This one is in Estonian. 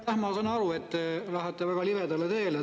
Jah, ma saan aru, et te lähete väga libedale teele.